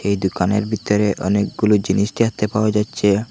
এই দুকানের বিতরে অনেকগুলো জিনিস দেখতে পাওয়া যাচ্ছে।